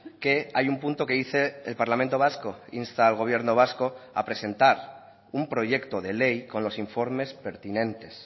que hay un punto que dice el parlamento vasco insta al gobierno vasco a presentar un proyecto de ley con los informes pertinentes